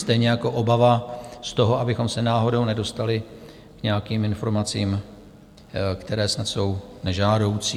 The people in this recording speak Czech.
Stejně jako obava z toho, abychom se náhodou nedostali k nějakým informacím, které snad jsou nežádoucí.